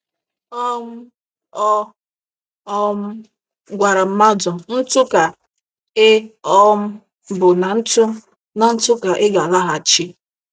um Ọ um gwara mmadụ: "ntụ ka ị um bụ na ntụ na ntụ ka ị ga-alaghachị".